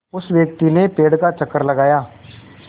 उस व्यक्ति ने पेड़ का चक्कर लगाया